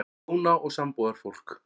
HJÓNA OG SAMBÚÐARFÓLKS